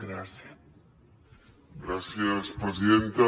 gràcies presidenta